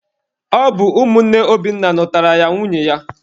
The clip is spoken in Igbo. Ọ bụ ụmụnne Obinna nụtaara ya nwunye ya.